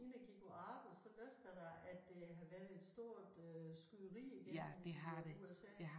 Inden jeg gik på arbejde så læste jeg da at der har været et øh stort skyderi igen i USA